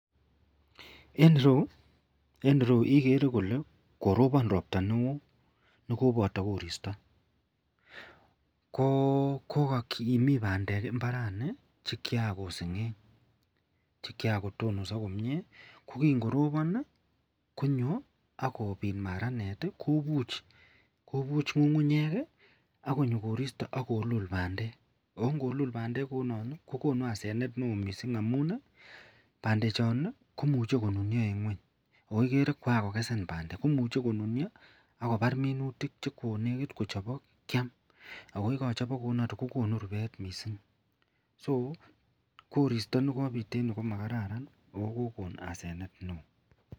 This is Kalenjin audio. En ireyu igere Kole korobon robta neon nikobata koristo kokimii bandek imbaraniton chikian kosengeng akbkotonoso komie kokingorobon konyo akobit maranet kobuch ngungunyek ako koristo akolul bandek akongolul bandek kounon kokonu asenet neon mising amunbandek chon komuch konunio en ngweny akoigere kwankikesen bandek akobar minutik chekonekit kochobok Kiam akoyekachobok kokonu rubet mising (so) koristo nekobit en ireyu komakararan mising akokon asenet neon.